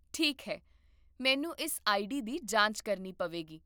ਠੀਕ ਹੈ, ਮੈਨੂੰ ਇਸ ਆਈਡੀ ਦੀ ਜਾਂਚ ਕਰਨੀ ਪਵੇਗੀ